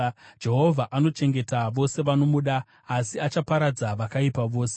Jehovha anochengeta vose vanomuda, asi achaparadza vakaipa vose.